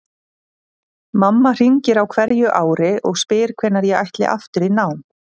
Mamma hringir á hverju ári og spyr hvenær ég ætli aftur í nám.